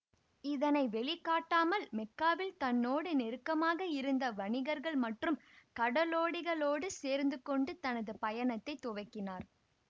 இதனை வெளிகாட்டாமல் மெக்காவில் தன்னோடு நெருக்கமாக இருந்த வணிகர்கள் மற்றும் கடலோடிகளோடு சேர்ந்துகொண்டு தனது பயணத்தை துவக்கினார்